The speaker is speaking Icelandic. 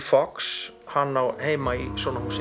Fox hann á heima í svona húsi